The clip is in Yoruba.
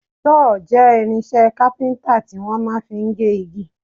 Sọ́ọ̀ jẹ́ irinṣẹ́ kápíntà tí wọ́n máa fi ń gé igi